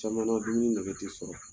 Caman na dumuni nege t'i sɔrɔ.